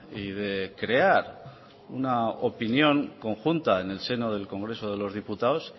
y de crear una opinión conjunta en el seno del congreso de los diputados